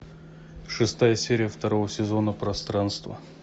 шестая серия второго сезона пространство